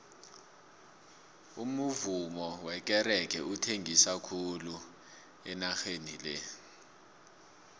umuvummo wekerege uthengisa khulu enageni le